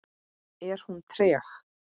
Er hún treg?